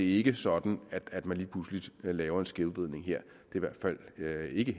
ikke sådan at man lige pludselig laver en skævvridning her det er i